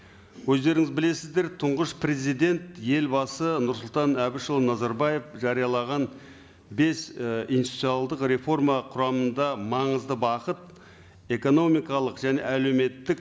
өздеріңіз білесіздер тұңғыш президент елбасы нұрсұлтан әбішұлы назарбаев жариялаған бес і институционалдық реформа құрамында маңызды бағыт экономикалық және әлеуметтік